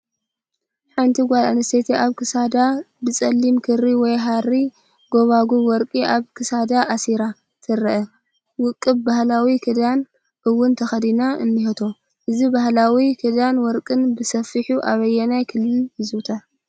ሓንቲ ጓል ኣነስተይቲ ኣብ ክሳዳ ብፀሊም ክሪ ወይ ሃሪ ጉባጉብ ወርቂ ኣብ ክሳዳ ኣሲራ ትረአ፣ ውቁብ ባህላዊ ክዳን ውን ተኸዲና እኒሄቶ፡፡ እዚ ባህላዊ ክዳንን ወርቅን ብሰፊሑ ኣበየናይ ክልል ይዝውተር?